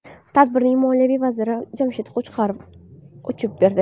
Tadbirning Moliya vaziri Jamshid Qo‘chqorov ochib berdi.